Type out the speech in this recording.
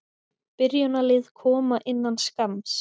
Byrjunarlið koma innan skamms.